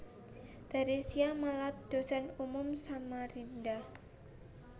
Theresia Malat Dosen unmul Samarinda